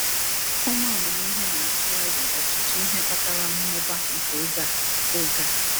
Ụmụ amamihe na-atụ aro ọtụtụ ihe kpatara mmụba nke oge a. oge a.